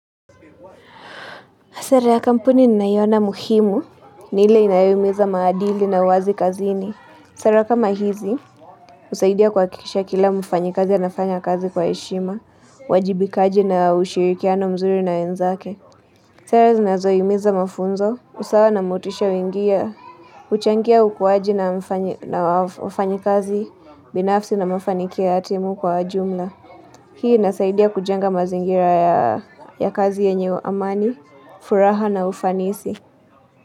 Sera ya kampuni ninayoina muhimu, ni ile inayoeneza maadili na uwazi kazini. Sera kama hizi, husaidia kuhakikisha kila mfanyikazi anafanya kazi kwa heshima, uwajibikaji na ushirikiano mzuri na wenzake. Sera zinazohimiza mafunzo, usawa na motisha wingia, huchangia ukuaji na wafanyikazi, binafsi na mafanikio ya timu kwa jumla. Hii inasaidia kujenga mazingira ya kazi yenye amani, furaha na ufanisi.